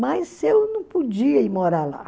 Mas eu não podia ir morar lá.